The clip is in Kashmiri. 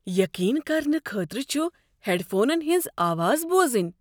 یقین کرنہٕ خٲطرٕ چھ ہیڈ فونن ہنٛز آواز بوزٕنۍ۔